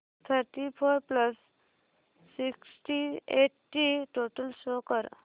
thirty four plus sixty eight ची total show कर